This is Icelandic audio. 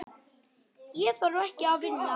Ég þarf ekki að vinna.